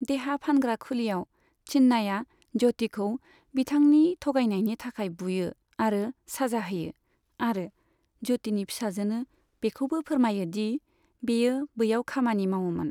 देहा फानग्रा खुलियाव, चिन्नाया ज्योतिखौ बिथांनि थगायनायनि थाखाय बुयो आरो साजा होयो, आरो ज्योतिनि फिसाजोनो बेखौबो फोरमायो दि बेयो बैयाव खामानि मावोमोन।